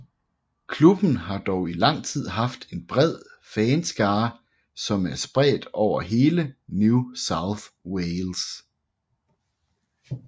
Klubben har dog i lang tid haft en bred fanskare som er spredt over hele New South Wales